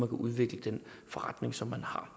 kan udvikle den forretning som man har